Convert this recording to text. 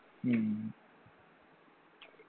ഉം